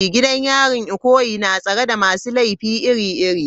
Gidan yarin Ikoyi na tsare da masu laifi iri-iri.